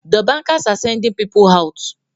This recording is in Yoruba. The bankers are sending people out